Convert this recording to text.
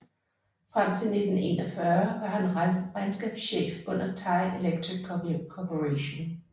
Frem til 1941 var han regnskabschef under Thai Electric Corporation